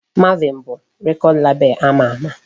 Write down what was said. Marvin bụ record label ama ama.